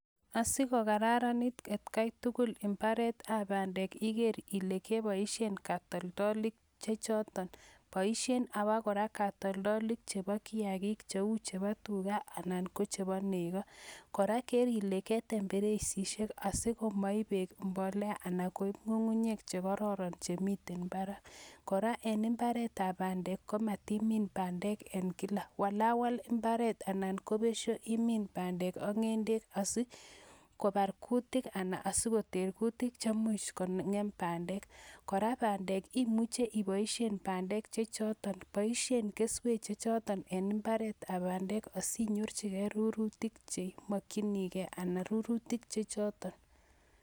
Asigokararanit etkai tugul en mbaretab bandek iger ile keboisien kotoldolik chechoton. Boisien aba kora katoldolik chebo kiyagik cheu chebo tuga anan ko chebo nego. Kora ker ile ketem mbereisishek asigo maib beek mbolea anan koib ng'ung'unyek che kororon chemiten mbarak. Kora en imbaretab bandek komatimin bandek en kila, walawal imbaret anan ko besio imin bandek ak ng'endet asi kobar gutik anan asigoter gutik chemuch kong'em bandek. Kora bandek imuche iboisien bandek chechoton, boisie keswek chechoton en imbaret ab bandek asinyorchigei rurutik cheimokchinigei anan rurutik chechoton.